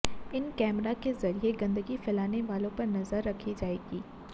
इन कैमरों के जरिए गंदगी फैलाने वालों पर नजर रखी जाएगी